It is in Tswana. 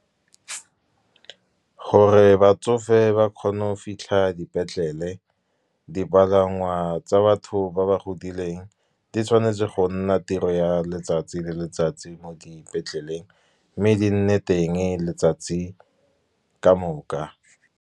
Gore batsofe ba kgone go fitlha dipetlele, dipalangwa tsa batho ba ba godileng di tshwanetse go nna tiro ya letsatsi le letsatsi mo dipetleleng, mme di nne teng letsatsi ka moka.